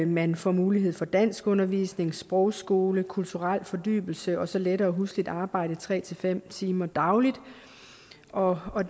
man får mulighed for danskundervisning sprogskole kulturel fordybelse og så lettere husligt arbejde tre fem timer dagligt og og